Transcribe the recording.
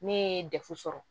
Ne ye defu sɔrɔ